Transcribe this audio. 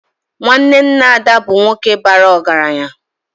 Nwanne nna Ada bụ nwoke bara ọgaranya